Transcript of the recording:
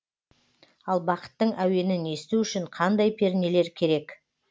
ал бақыттың әуенін есту үшін қандай пернелер керек